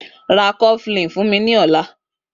Rá kọflin fún mi lọ̀lá